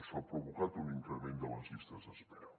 això ha provocat un increment de les llistes d’espera